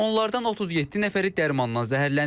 Onlardan 37 nəfəri dərmandan zəhərlənib.